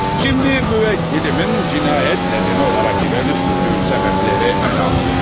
Şimdi müvekkilimin cinayet nedeni olarak ileri sürdüğü sebepleri ele alalım.